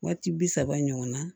Waati bi saba ɲɔgɔn na